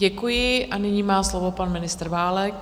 Děkuji a nyní má slovo pan ministr Válek.